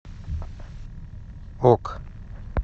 ок